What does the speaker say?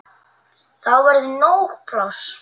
Þá verður nóg pláss.